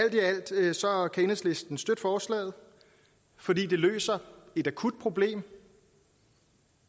enhedslisten dog støtte forslaget fordi det løser et akut problem